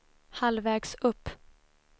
halvvägs upp